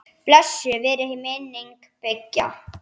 Blessuð veri minning beggja.